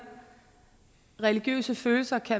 at religiøse følelser